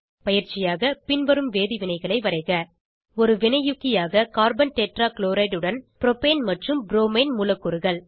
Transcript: பயிற்சியாக பின்வரும் வேதிவினைகளை வரைக 1ஒரு வினையூக்கியாக கார்பன் டெட்ரா க்ளோரைட் உடன் ப்ரோபேன் மற்றும் ப்ரோமைன் மூலக்கூறுகள்